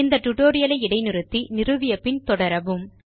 இந்த டியூட்டோரியல் ஐ இடைநிறுத்தி நிறுவிய பின் தொடரவும்